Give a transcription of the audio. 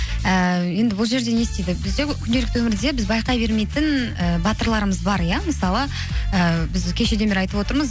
ііі енді бұл жерде не істейді бізде күнделікті өмірде біз байқай бермейтін і батырларымыз бар иә мысалы ііі біз кешеден бері айтып отырмыз